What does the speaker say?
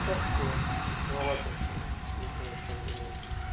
так себе скучновато блять не знаю чем заняться